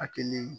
Hakili